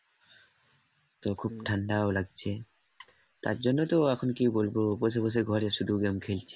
তো খুব ঠান্ডা লাগছে তার জন্য তো তার জন্য তো এখন কি বলবো বসে বসে ঘরে শুধু game খেলছি।